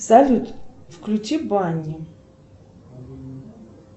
салют включи банни